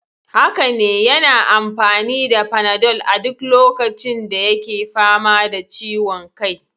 Haka ne, yana amfani da panadol a duk lokacin da yake fama da ciwon kai.